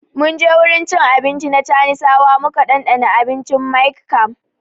Mun je wurin cin abinci na chanisawa muka dandana abincin Miang Kham